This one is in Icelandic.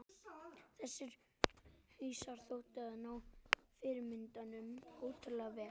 Þessir hausar þóttu ná fyrirmyndunum ótrúlega vel.